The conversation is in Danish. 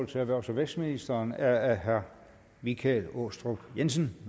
til erhvervs og vækstministeren er af herre michael aastrup jensen